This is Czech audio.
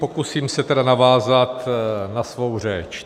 Pokusím se tedy navázat na svou řeč.